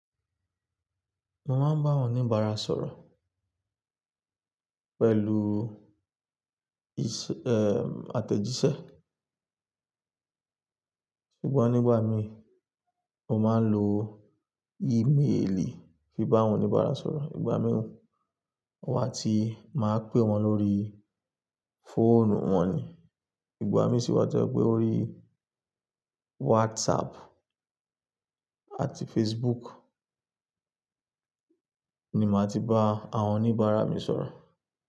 Mo máa ń bá àwọn oníbàárà sọ̀rọ̀ pẹ̀lú ìs-- eh, àtẹ̀jíṣẹ́. Ṣùgbọ́n nígbà mi mo máa ń lo ímeèlì fi bá àwọn oníbàárà sọ̀rọ̀. Ìgbà mìíràn wọ́n á ti máa pè wọ́n lórí fóònù wọ́n ni. Ìgbà mí sì wá tẹ́ ọ pe ó rí WhatsApp àti Facebook ni màá ti bá àwọn oníbàárà mi sọ̀rọ̀